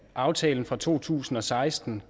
aftalen fra to tusind og seksten